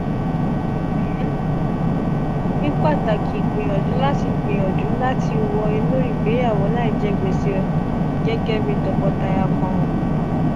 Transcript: ni pataki gbiyanju lati gbiyanju lati wọ inu igbeyawo laijẹ gbese gẹgẹ bi tọkọtaya kan o.